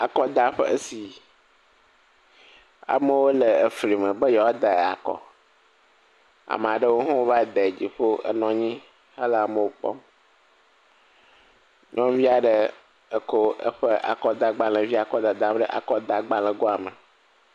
Akɔdaƒe si amewo le efli me be yewoa da akɔ. Ame si aɖewo hã va de dziƒo enɔ anyi hele amewo kpɔm. Nyɔnuvi aɖe kɔ eƒe akɔdagbalẽvia kɔ dadam ɖe akɔdagbalẽ goa me.